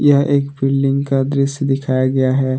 यह एक बिल्डिंग का दिखाया गया है।